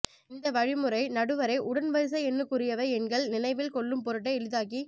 இந்த வழிமுறை நடுவரை உடன் வரிசையெண்ணுக்குரியவை எண்கள் நினைவில் கொள்ளும் பொருட்டே எளிதாக்கி